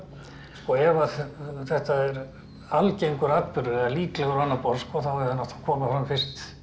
ef þetta er algengur atburður eða líklegur á annað borð þá hefði hann átt að koma fram fyrst